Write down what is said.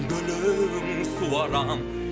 гүлін суарам